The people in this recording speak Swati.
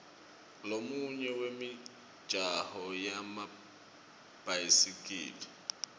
lomunye wemijaho yemabhayisikili